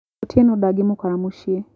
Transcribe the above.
Otieno ndagĩmũkora mũcĩĩ.M.